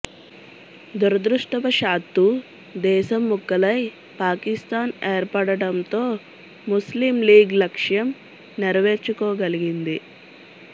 దురదృష్టవశాత్తూ దేశం ముక్కలై పాకిస్తాన్ ఏర్పడటంతో ముస్లిం లీగ్ లక్ష్యం నెరవేర్చుకోగలిగింది